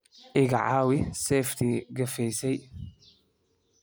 Iga caawi seeftii gafaysay.